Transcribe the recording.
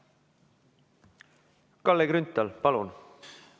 Kalle Grünthal, palun!